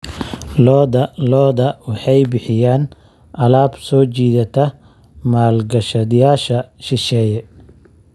Lo'da lo'da waxay bixiyaan alaab soo jiidata maalgashadayaasha shisheeye.